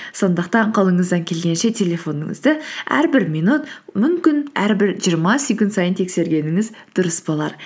сондықтан қолыңыздан келгенше телефоныңызды әрбір минут мүмкін әрбір жиырма секунд сайын тексергеніңіз дұрыс болар